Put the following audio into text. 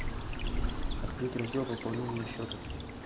открыть раздел пополнение счета